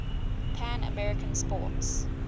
pan american sports